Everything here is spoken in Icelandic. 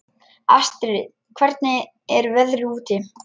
Astrid, hvernig er veðrið úti?